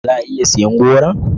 Za a iya siyan goron?